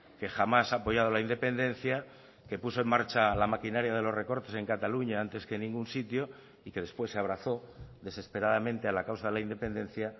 que jamás ha apoyado la independencia que puso en marcha la maquinaria de los recortes en cataluña antes que en ningún sitio y que después se abrazó desesperadamente a la causa de la independencia